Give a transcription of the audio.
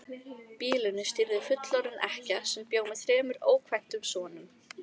Býlinu stýrði fullorðin ekkja sem bjó með þremur ókvæntum sonum.